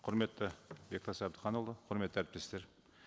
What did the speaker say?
құрметті бектас әбдіханұлы құрметті әріптестер